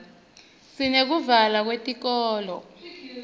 sineyekuvalwa kwetikolo